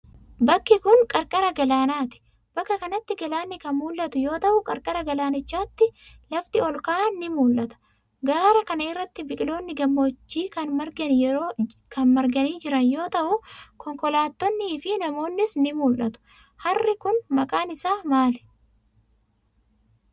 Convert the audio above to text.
Bakki kun, qarqara galaanaati. Bakka kanatti galaanni kan mul'atu yoo ta'u, qarqara galaanichaatti lafti ol ka'an ni mul'ata. Gaara kana irratti biqiloonni gammoojjii kan marganii jiran yoo ta'u, konkolaattonnii fi namoonnis ni mul'atu. Harri kun, maqaan isaa maali?